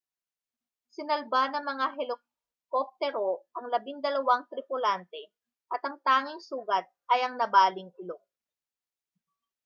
sinalba ng mga helikoptero ang labindalawang tripulante at ang tanging sugat ay ang nabaling ilong